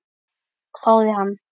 hváði hann.